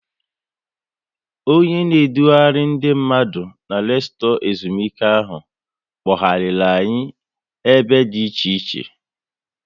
Onye na edughari ndị mmadụ na resotu ezumike ahụ, kpoghariri anyị ebe dị iche iche